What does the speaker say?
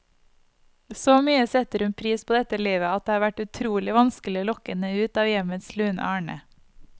Så mye setter hun pris på dette livet, at det har vært utrolig vanskelig å lokke henne ut av hjemmets lune arne.